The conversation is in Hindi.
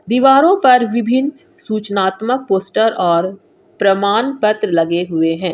दीवारों पर विभिन्न सूचनात्मक पोस्टर और प्रमाण पत्र लगे हुए हैं।